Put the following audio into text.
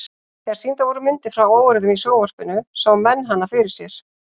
Þegar sýndar voru myndir frá óeirðum í sjónvarpinu sáu menn hana fyrir sér.